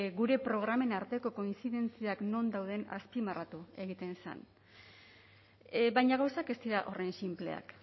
gure programen arteko kointzidentziak non dauden azpimarratu egiten zen baina gauzak ez dira horren sinpleak